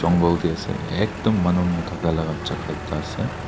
gul tae ase ekdum manu nthaka la jaka ase.